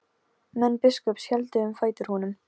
Menn biskups héldu um fætur honum.